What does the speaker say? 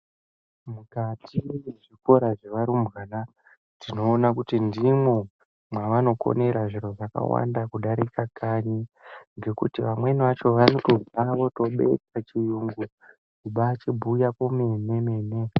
Mukati mezvikora zvearumbwana tinoona ndimo maanokonera zviro zvakawanda kudarika kanyi ngekuti amweni anotobve oobetha chiyungu kubaachibhuya zvemene mene.